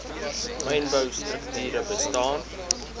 mynbou strukture bestaan